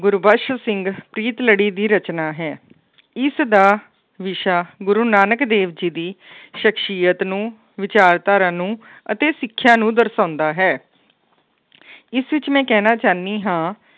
ਗੁਰਬਖਸ ਸਿੰਘ ਪ੍ਰੀਤਲੜੀ ਦੀ ਰਚਨਾ ਹੈ ਇਸਦਾ ਵਿਸ਼ਾ ਗੁਰੂ ਨਾਨਕ ਦੇਵ ਜੀ ਦੀ ਸਖਸ਼ੀਅਤ ਨੂੰ ਵਿਚਾਰਧਾਰਾਂ ਨੂੰ ਅਤੇ ਸਿੱਖਿਆ ਨੂੰ ਦਰਸਾਉਂਦਾ ਹੈ ਇਸ ਵਿੱਚ ਮੈਂ ਕਹਿਣਾ ਚਾਹੁੰਦੀ ਹਾਂ